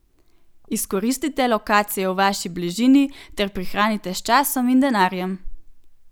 Izkoristite lokacije v vaši bližini ter prihranite s časom in denarjem!